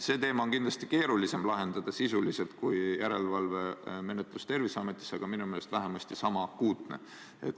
Seda on kindlasti keerulisem sisuliselt lahendada kui järelevalvemenetlust Terviseametis, aga minu meelest on see vähemasti niisama akuutne.